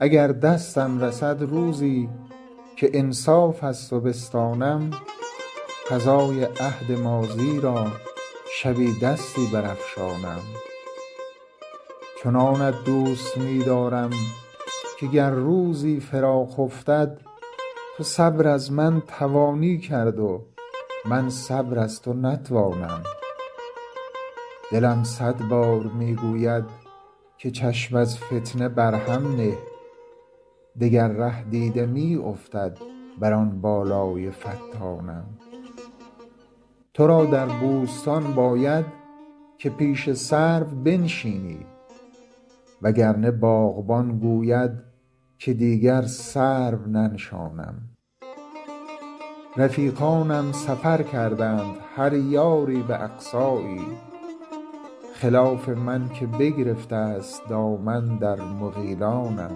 اگر دستم رسد روزی که انصاف از تو بستانم قضای عهد ماضی را شبی دستی برافشانم چنانت دوست می دارم که گر روزی فراق افتد تو صبر از من توانی کرد و من صبر از تو نتوانم دلم صد بار می گوید که چشم از فتنه بر هم نه دگر ره دیده می افتد بر آن بالای فتانم تو را در بوستان باید که پیش سرو بنشینی وگرنه باغبان گوید که دیگر سرو ننشانم رفیقانم سفر کردند هر یاری به اقصایی خلاف من که بگرفته است دامن در مغیلانم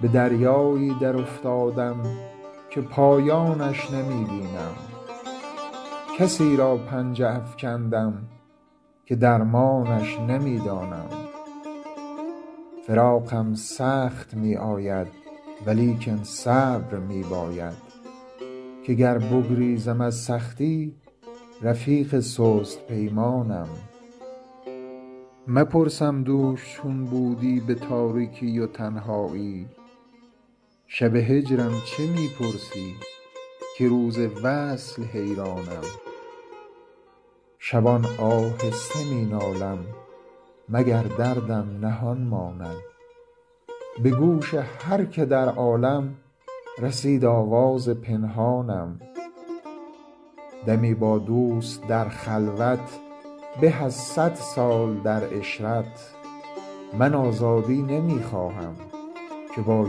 به دریایی درافتادم که پایانش نمی بینم کسی را پنجه افکندم که درمانش نمی دانم فراقم سخت می آید ولیکن صبر می باید که گر بگریزم از سختی رفیق سست پیمانم مپرسم دوش چون بودی به تاریکی و تنهایی شب هجرم چه می پرسی که روز وصل حیرانم شبان آهسته می نالم مگر دردم نهان ماند به گوش هر که در عالم رسید آواز پنهانم دمی با دوست در خلوت به از صد سال در عشرت من آزادی نمی خواهم که با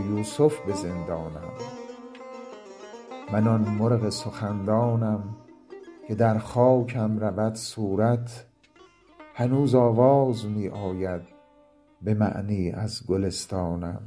یوسف به زندانم من آن مرغ سخندانم که در خاکم رود صورت هنوز آواز می آید به معنی از گلستانم